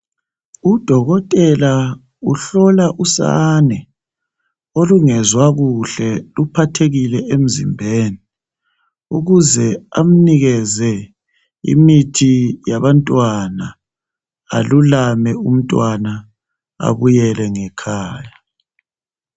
Udokotela uhlola usane olungezwa kuhle luphathekile emzimbeni ukuze amnikeze imithi yabantwana alulame umntwana abuyele ngekhaya